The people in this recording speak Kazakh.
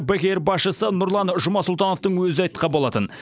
бек эйр басшысы нұрлан жұмасұлтановтың өзі де айтқан болатын